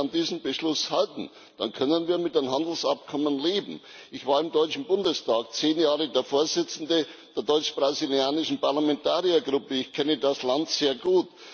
Wenn Sie sich an diesen Beschluss halten, dann können wir mit dem Handelsabkommen leben. Ich war im Deutschen Bundestag zehn Jahre der Vorsitzende der deutsch brasilianischen Parlamentariergruppe, ich kenne das Land sehr gut.